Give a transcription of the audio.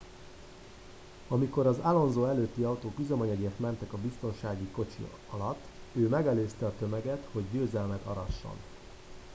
amikor az alonso előtti autók üzemanyagért mentek a biztonsági kocsi alatt ő megelőzte a tömeget hogy győzelmet arasson